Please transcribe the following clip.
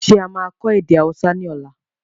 Ṣé a máa kọ èdè Hausa ni ọ̀la?